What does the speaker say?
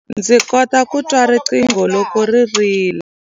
Ndzi kota ku twa riqingho loko ri rila.